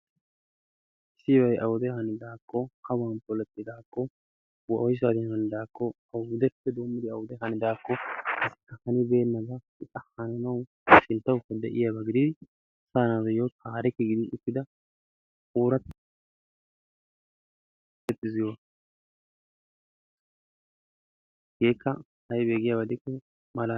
Tiyay awude hanidakko, awan poletidaakko, woyssan hanidakko, awappe doommidi awan hanidaakko, hanibeenaaba hanannawu sinttawukka de'iyaaba gidin asa naatuyyo taarikke gidi uttida oorattabay dees giyooga, hegakka aybbe giyaaba gidikko...